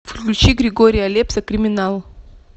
включи григория лепса криминал